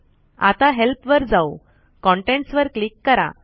आता हेल्प वर जाऊ कंटेंट्स वर क्लिक करा